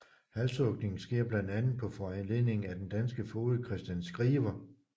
Halshugningen sker blandt andet på foranledning af den danske foged Christian Skriver